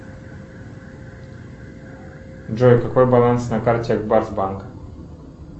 джой какой баланс на карте ак барс банка